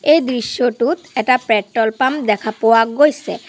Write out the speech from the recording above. এই দৃশ্যটোত এটা পেট্ৰল পাম্প দেখা পোৱা গৈছে।